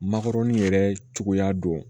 Makɔrɔni yɛrɛ cogoya don